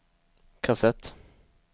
kassett